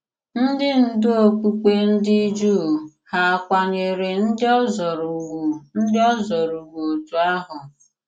Ndị ndú okpùkpe ndị Jùù hà à kwànyèrè ndị òzòrò ùgwù ndị òzòrò ùgwù òtù ahụ?